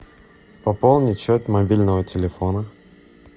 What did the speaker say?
пополнить счет мобильного телефона